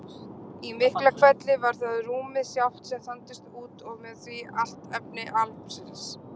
Í Miklahvelli var það rúmið sjálft sem þandist út og með því allt efni alheimsins.